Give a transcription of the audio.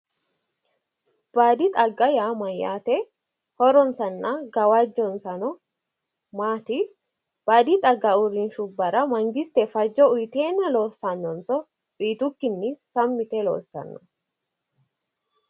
Baadi xagga yaa mayyaate? Horonsanna gawajjonsano maati? Baadi xagga uurrinshubbara mangiste fajjo uyiteenna loossanonso uyiitukkinni sammi yite loossanno?